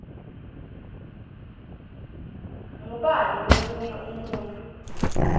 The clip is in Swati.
ngubani lomunye umuntfu